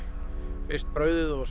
fyrst brauðið og svo